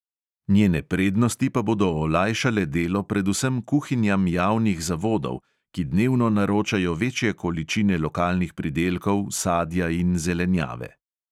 Njene prednosti pa bodo olajšale delo predvsem kuhinjam javnih zavodov, ki dnevno naročajo večje količine lokalnih pridelkov, sadja in zelenjave.